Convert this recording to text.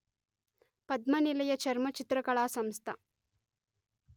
పద్మనిలయ చర్మచిత్రకళా సంస్థ